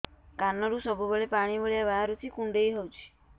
କାନରୁ ସବୁବେଳେ ପାଣି ଭଳିଆ ବାହାରୁଚି କୁଣ୍ଡେଇ ହଉଚି